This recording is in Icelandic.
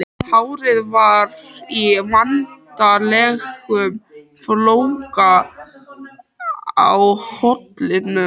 Hárið var í vanalegum flóka á kollinum.